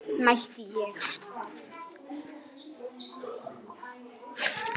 mælti ég.